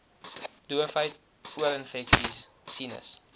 doofheid oorinfeksies sinus